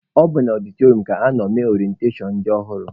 Ọ bụ na ọdịtọrịọm ka anọ mee orentashọn ndị ọhụrụ.